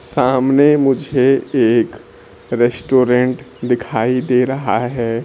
सामने मुझे एक रेस्टोरेंट दिखाई दे रहा है।